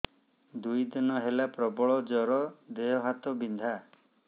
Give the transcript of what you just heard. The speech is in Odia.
ଦୁଇ ଦିନ ହେଲା ପ୍ରବଳ ଜର ଦେହ ହାତ ବିନ୍ଧା